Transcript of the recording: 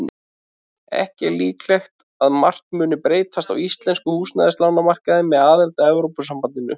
Ekki er líklegt að margt mundi breytast á íslenskum húsnæðislánamarkaði með aðild að Evrópusambandinu.